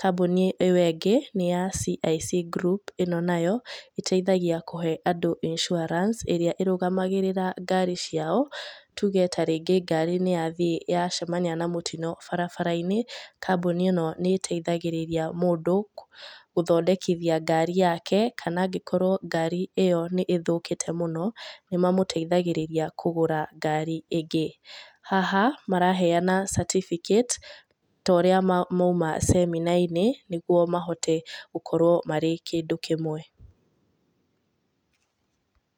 Kambũni iyo ĩngĩ nĩ ya CIC group ĩno nayo ĩteithagia kũhe andũ insurance ĩrĩa ĩrũgamagĩrĩra ngari ciao, tũge ta rĩngĩ ngari nĩ yathiĩ yacemanĩa na mũtino barabara-inĩ, kambũni ino ni ĩteithagĩrĩria mũndũ gũthondekithia ngari yake kana angĩkorwo ngari iyo nĩ ĩthũkĩte mũno nĩ mamũteithagĩrĩrĩa kũgũra ngari ĩngĩ. Haha maraheana certificate ta ũrĩa maũma semina-inĩ nĩgũo mahote gũkorwo marĩ kĩndũ kĩmwe